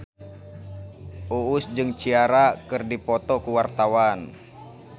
Uus jeung Ciara keur dipoto ku wartawan